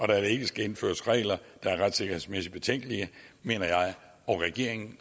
der ikke skal indføres regler der er retssikkerhedsmæssigt betænkelige mener jeg og regeringen